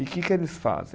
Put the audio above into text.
E que que eles fazem?